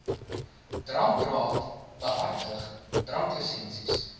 drankraad behartig dranklisensies